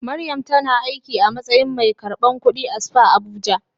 Mariam tana aiki a matsayin mai karbar kudi a spa Abuja.